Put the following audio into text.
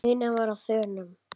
Nína var á þönum.